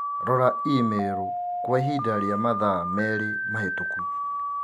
Rora i-mīrū kwa ihinda rĩa mathaa merĩ mahĩtũku